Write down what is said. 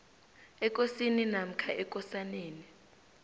ekosini namkha ekosaneni